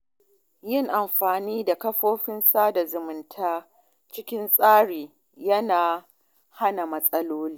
Yin amfani da kafafen sada zumunta cikin tsari yana hana matsaloli.